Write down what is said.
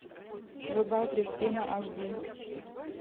врубай кристина аш ди